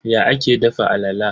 Ya ake dafa alala?